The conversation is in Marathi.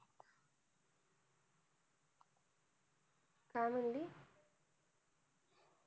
काय म्हणाली